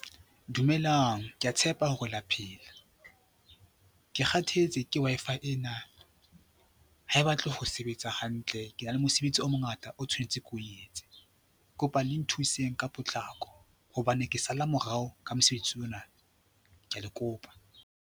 Dumelang, ke a tshepa hore la phela. Ke kgathetse ke Wi-Fi ena, ha e batle ho sebetsa hantle, ke na le mosebetsi o mongata o tshwanetse ke o etse. Kopa le nthuseng ka potlako hobane ke sala morao ka mosebetsi ona. Ke a le kopa.